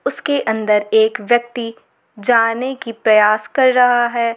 उसके अंदर एक व्यक्ति जाने की प्रयास कर रहा है।